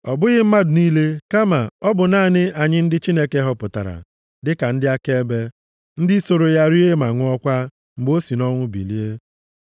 Ọ bụghị mmadụ niile kama ọ bụ naanị anyị ndị Chineke họpụtara, dịka ndị akaebe, ndị soro ya rie ma ṅụọkwa mgbe o si nʼọnwụ bilie.